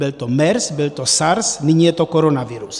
Byl to MERS, byl to SARS, nyní je to koronavirus.